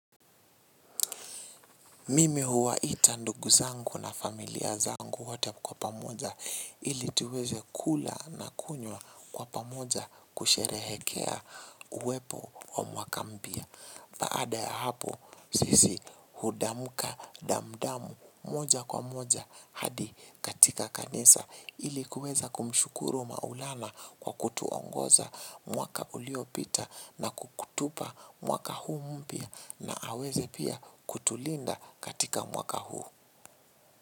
Mimi huwaita ndugu zangu na familia zangu wote kwa pamoja ili tuweze kula na kunywa kwa pamoja kusherehekea uwepo wa mwaka mpya. Baada ya hapo sisi hudamuka damdam moja kwa moja hadi katika kanisa ili kuweza kumshukuru maulana kwa kutuongoza mwaka uliopita na kutupa mwaka huu mpya. Na aweze pia kutulinda katika mwaka huu.